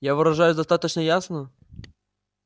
я выражаюсь достаточно ясно